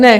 Ne.